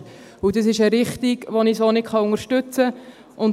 Dies ist eine Richtung, die ich so nicht unterstützen kann.